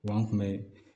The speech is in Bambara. Wa an kun bɛ